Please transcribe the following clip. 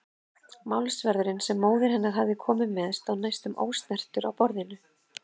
Málsverðurinn sem móðir hennar hafði komið með stóð næstum ósnertur á borðinu.